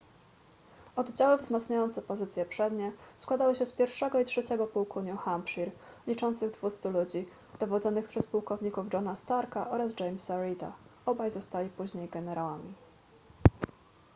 oddziały wzmacniające pozycje przednie składały się z 1. i 3. pułku new hampshire liczących 200 ludzi dowodzonych przez pułkowników johna starka oraz jamesa reeda obaj zostali później generałami